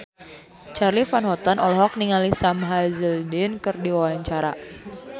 Charly Van Houten olohok ningali Sam Hazeldine keur diwawancara